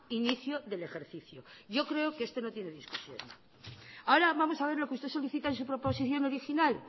inicio del ejercicio yo creo que esto no tiene discusión ahora vamos a ver lo que usted solicita en su proposición original